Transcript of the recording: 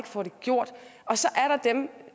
får det gjort og så er der dem